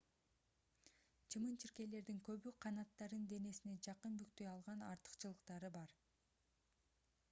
чымын-чиркейлердин көбү канаттарын денесине жакын бүктөй алган артыкчылыктары бар